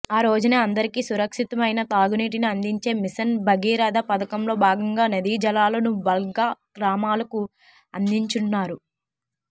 ఆ రోజునే అందరికీ సురక్షితమైన తాగునీటిని అందించే మిషన్ భగీరథ పథకంలో భాగంగా నదీజలాలను బల్క్గా గ్రామాలకు అందించనున్నారు